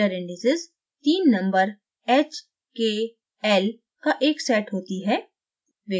miller indices तीन numbers hkl का एक set होती है